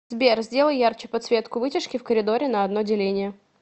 сбер сделай ярче подсветку вытяжки в коридоре на одно деление